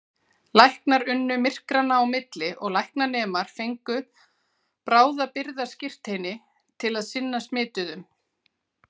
Læknar unnu myrkranna á milli og læknanemar fengu bráðabirgðaskírteini til að sinna smituðum.